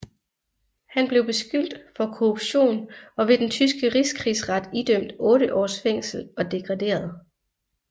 Han blev beskyldt for korruption og ved den tyske Rigskrigsret idømt otte års fængsel og degraderet